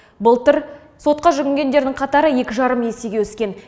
былтыр сотқа жүгінгендердің қатары екі жарым есеге өскен